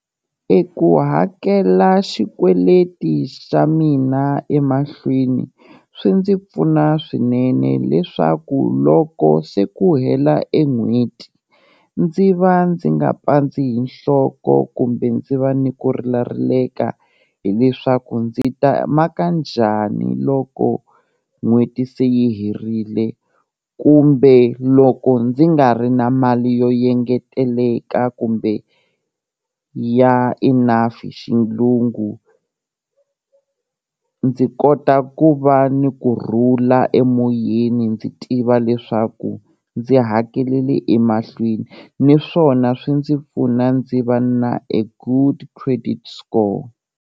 E ku hakela xikweleti xa mina emahlweni, swi ndzi pfuna swinene leswaku loko se ku hela e n'hweti, ndzi va ndzi nga pandzi hi nhloko kumbe ndzi va ni ku rilarileka hileswaku ndzi ta maka njhani loko n'hweti se yi herile kumbe loko ndzi nga ri na mali yo yengeteleka kumbe ya enough hi xilungu, ndzi kota ku va ni kurhula emoyeni ndzi tiva leswaku ndzi hakelele emahlweni niswona swi ndzi pfuna ndzi va na e good credit score.